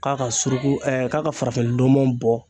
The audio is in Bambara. K'a ka suruku k'a ka farafinndɔmɔ bɔ.